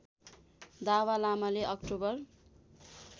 दावा लामाले अक्टोबर